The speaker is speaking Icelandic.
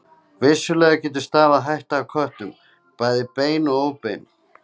Vissulega getur stafað hætta af köttum, bæði bein og óbein.